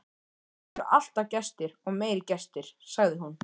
Hér eru alltaf gestir og meiri gestir, sagði hún.